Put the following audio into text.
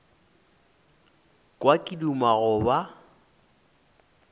kwa ke duma go ba